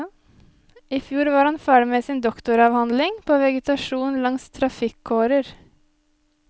I fjor var han ferdig med sin doktoravhandling på vegetasjon langs trafikkårer.